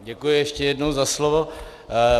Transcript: Děkuji ještě jednou za slovo.